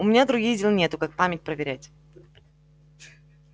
у меня других дел нету как память проверять